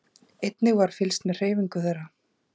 Einnig var fylgst með hreyfingu þeirra